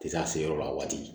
Tɛ se a se yɔrɔ la a waati